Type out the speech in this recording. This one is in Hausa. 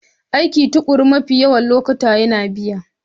Aikin tukuru mafi yawan lokuta yana biya.